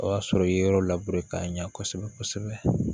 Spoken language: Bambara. O y'a sɔrɔ i ye yɔrɔ k'a ɲɛ kosɛbɛ kosɛbɛ